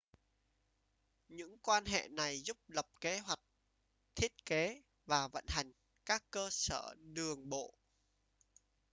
những quan hệ này giúp lập kế hoạch thiết kế và vận hành các cơ sở đường bộ